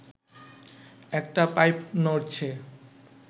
একটা পাইপ নড়ছে